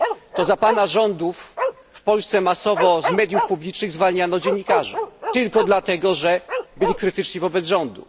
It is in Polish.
To za Pana rządów w Polsce masowo z mediów publicznych zwalniano dziennikarzy tylko dlatego, że byli krytyczni wobec rządu.